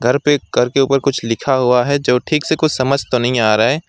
घर पे घर के ऊपर कुछ लिखा हुआ है जो ठीक से कुछ समझ तो नहीं आ रहा है।